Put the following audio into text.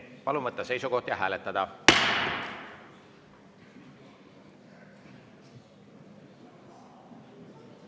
Palun võtta seisukoht ja hääletada!